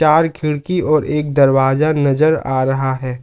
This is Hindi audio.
चार खिड़की और एक दरवाजा नजर आ रहा है।